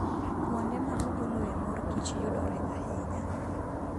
Kuonde ma ogoloe mor kich yudore ahinya.